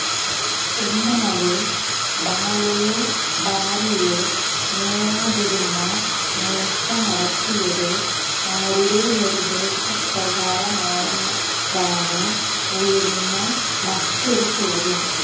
എന്നാല് ബാലയോ ഭാര്യയോ നേരാതിരുന്ന നേര്ച്ച നടത്തിയത് ആരുടെ നിര്ദ്ദേശ പ്രകാരമാണെന്നതാണ് ഉയരുന്ന മറ്റൊരു ചോദ്യം